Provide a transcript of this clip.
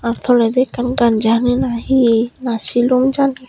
ahh tolendi ekkan ganja hani na he na silum jani.